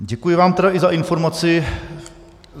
Děkuji vám tedy i za informaci.